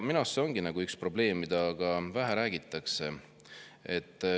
Minu arust see ongi üks probleem, millest vähe räägitakse.